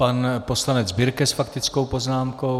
Pan poslanec Birke s faktickou poznámkou.